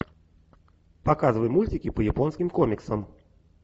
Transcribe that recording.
показывай мультики по японским комиксам